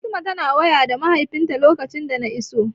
Fatima tana waya da mahaifinta lokacin da na iso.